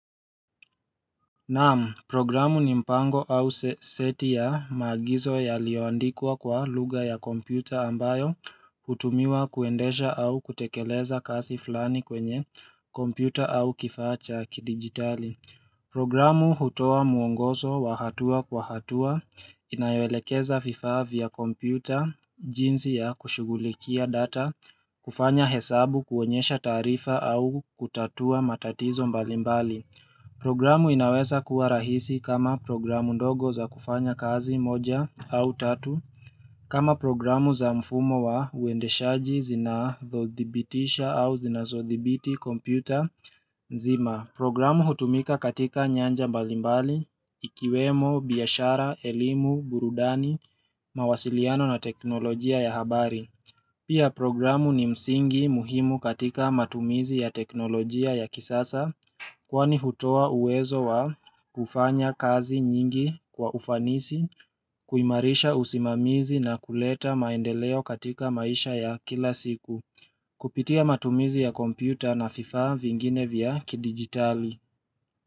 Naam, programu ni mpango au seti ya maagizo yaliyoandikwa kwa lugha ya kompyuta ambayo, hutumiwa kuendesha au kutekeleza kazi fulani kwenye kompyuta au kifaa cha kidigitali. Programu hutoa mwongozo wa hatua kwa hatua, inayoelekeza vifaa vya kompyuta, jinsi ya kushughulikia data, kufanya hesabu, kuonyesha taarifa au kutatua matatizo mbalimbali. Programu inaweza kuwa rahisi kama programu ndogo za kufanya kazi moja au tatu kama programu za mfumo wa uendeshaji zinazodhibitisha au zinazodhibiti kompyuta nzima Programu hutumika katika nyanja mbalimbali, ikiwemo, biashara, elimu, burudani, mawasiliano na teknolojia ya habari Pia programu ni msingi muhimu katika matumizi ya teknolojia ya kisasa Kwani hutoa uwezo wa kufanya kazi nyingi kwa ufanisi, kuimarisha usimamizi na kuleta maendeleo katika maisha ya kila siku Kupitia matumizi ya kompyuta na vifaa vingine vya kidigitali.